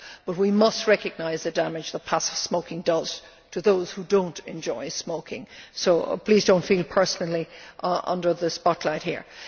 But we must recognise the damage that passive smoking does to those who do not enjoy smoking, so please do not feel personally under the spotlight here.